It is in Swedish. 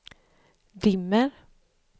dimmer